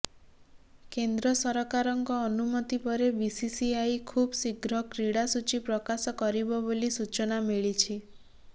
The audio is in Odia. କେନ୍ଦ୍ର ସରକାରଙ୍କ ଅନୁମତି ପରେ ବିସିସିଆଇ ଖୁବ୍ ଶୀଘ୍ର କ୍ରୀଡ଼ା ସୂଚୀ ପ୍ରକାଶ କରିବ ବୋଲି ସୂଚନା ମିଳିଛି